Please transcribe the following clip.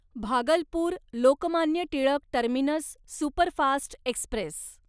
Bhagalpur Lokmanya Tilak terminus superfast Express